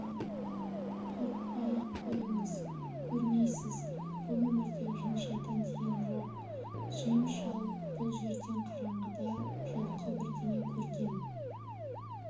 қорықпай-ақ қойыңыз көрмейсіз бұл өмірде жын-шайтан деген жоқ джим шал бұл жерден қараңғыда жылқы бірдеңе көрген